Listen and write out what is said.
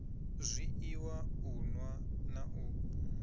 zwiiwa u nwa na u